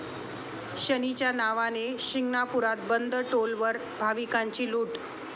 शनीच्या नावाने...', शिंगणापुरात बंद टोलवर भाविकांची लूट